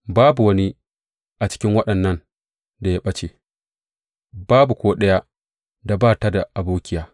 Babu wani a cikin waɗannan da ya ɓace, babu ko ɗaya da ba ta da abokiya.